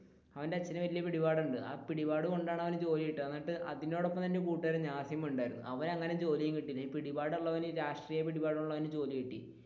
അവന്റെ അച്ഛൻ വല്യ പിടിപാടുണ്ട് ആ പിടിപാട് കൊണ്ടാണ് അവനു ജോലി കിട്ടിയത് എന്നിട്ട് അതിനോടൊപ്പം ഒരു കൂട്ടുകാരൻ നാസിമും ഉണ്ടായിരുന്നു അവൻ അങ്ങനെ ജോലിയും കിട്ടിയില്ല ഈ പിടിപാട് ഉള്ളവൻ രാഷ്ട്രീയ പിടിപാടുള്ളവൻ ജോലി കിട്ടി,